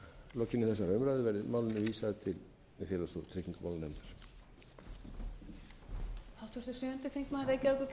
lokinni þessari umræðu verði málinu vísað til félags og tryggingamálanefndar